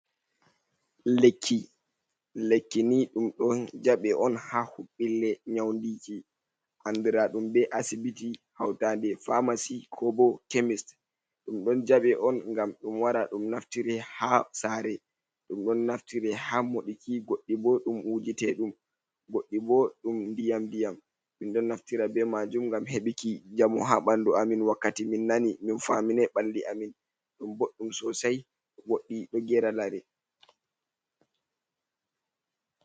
Lekki, lekki ni ɗum ɗon jaɓɓe on ha huɓbille nyaundiki andira ɗum be asibiti, hautade famasy, ko bo khemist. Ɗum don jaɓɓe on ngam ɗum wara ɗum naftire ha sare, ɗum ɗon naftire ha moɗiki, goddie bo ɗum wujite ɗum, goɗɗi bo ɗum ndiyam ndiyam min ɗon naftira be majum ngam heɓiki jamu ha ɓanɗu amin wakkati min nani min famine balli amin, ɗum boɗɗum sosai goɗɗi ɗo gera lare.